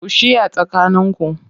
Ku shiya tsakaninku